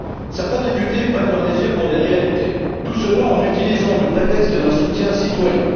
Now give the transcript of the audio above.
Certains députés prennent leurs désirs pour des réalités, tout cela en utilisant le prétexte d'un soutien citoyen.